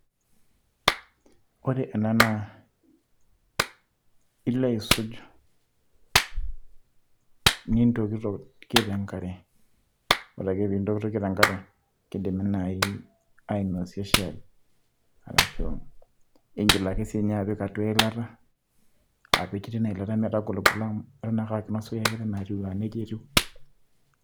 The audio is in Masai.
ore ena naa ilo aisuj, nintokitokie te nkare. ore ake pee intokitokie te nkare, kidimi naai ainosie shaai, arashu igil ake sii nnye naaji ,apik atua eilata. apik teine eilata metagoligolo amu mepiki enkiteng aa nejia etiu.